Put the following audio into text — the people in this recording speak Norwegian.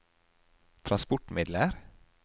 transportmidler